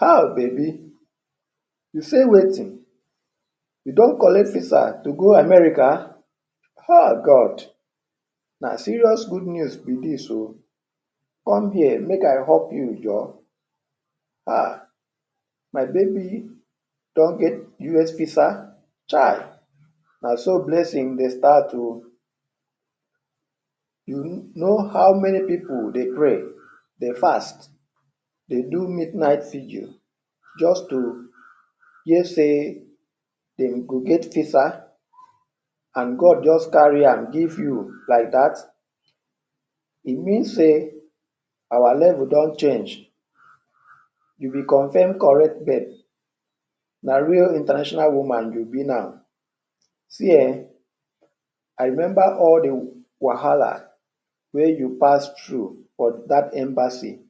Ha baby, you sey wetin? You don collect visa to go America? Ha God na serious good news be dis oo. Come here make I hug you joor, ha. My baby don get US visa? Chai na so blessing dey start oo. You know how many pipu dey pray, dey fast, dey do midnight vigil just to hear sey dem go get visa and God just carry am give you like dat? E mean sey our level don change. You be confirm correct babe, na really international woman you be now. See um, I remember all de wahala wey you pass through for dat embassy;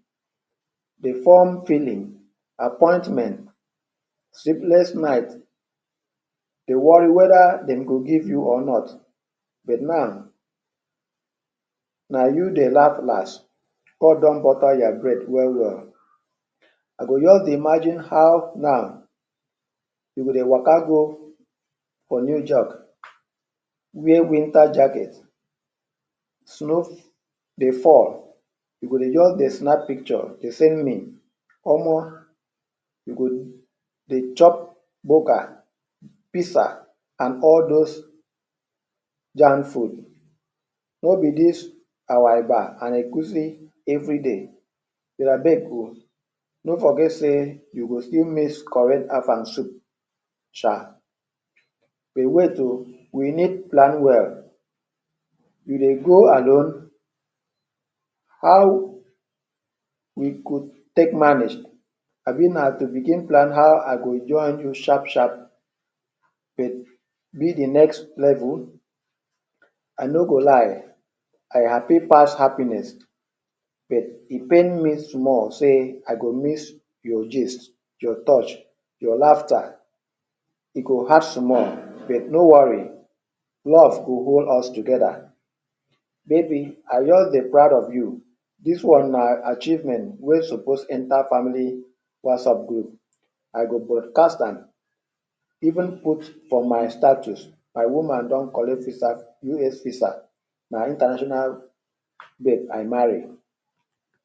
de form filling, appointment, sleepless night, dey worry whether dem go give you or not but now na you dey laugh dey last. God don butter your bread well well. I go just dey imagine how now you go dey waka go for new wear winter jacket, snow dey fall e go just dey snap picture dey send me. Omo. You go dey chop burger, pizza and all those jam food, no be dis our eba and egusi everyday. But abeg oo, no forget sey you go still miss correct Afang soup sha but wait oo we need plan well. You dey go alone? How you go take manage abi na to begin plan how I go join you sharp sharp. But be de next level, I no go lie I happy pass happiness but e pain me small sey I go miss your gist, your touch, your laughter. E go hard small but no worry, love go hold us together. Maybe I just dey proud of you. Dis one na achievement wey suppose enter family WhatsApp group, I go broadcast am even put for my status, " My woman don collect visa US visa, na international babe I marry".